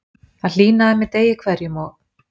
Það hlýnaði með degi hverjum og